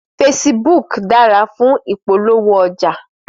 Fésibúk dàrá fún ipólówó òjá